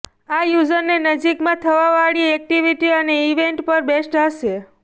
આ યૂઝરને નજીકમાં થવાવાળી એક્ટિવિટી અને ઈવેન્ટ પર બેસ્ટ હશે